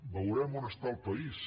veurem on està el país